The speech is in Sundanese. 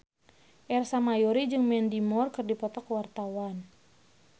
Ersa Mayori jeung Mandy Moore keur dipoto ku wartawan